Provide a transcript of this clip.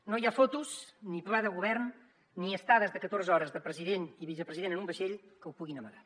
no hi ha fotos ni pla de govern ni estades de catorze hores de president i vicepresident en un vaixell que ho puguin amagar